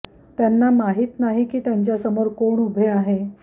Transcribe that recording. त्यांना माहित नाही की त्यांच्यासमोर कोण उभे आहे